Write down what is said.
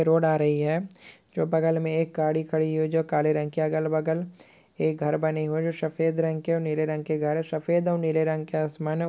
Road आ रही है जो बगल में एक गाड़ी खड़ी हुई है जो काले रंग की अगल-बगल एक घर बने हुए है जो शफेद रंग के और नीले रंग के घर है शफेद और नीले रंग के आसमान है।